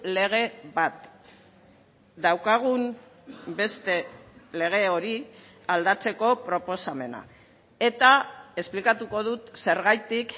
lege bat daukagun beste lege hori aldatzeko proposamena eta esplikatuko dut zergatik